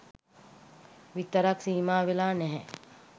විතරක් සීමාවෙලා නැහැ.